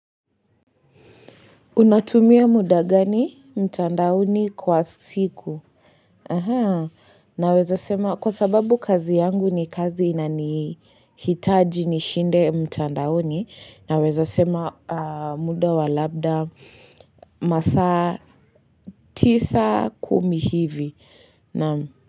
Unatumia muda gani mtandaoni kwa siku Aha naweza sema kwa sababu kazi yangu ni kazi ina ni hitaji ni shinde mtandaoni naweza sema muda wa labda masa tisa kumi hivi na.